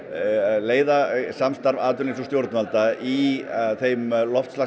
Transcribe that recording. leiða samstarfs atvinnulífs og stjórnvalda í þeim